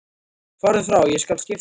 Farðu frá, ég skal skipta við þig.